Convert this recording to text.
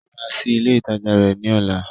Ó máa ṣí ilé ìtajà rẹ̀ ní ọ̀la